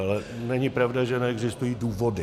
Ale není pravda, že neexistují důvody.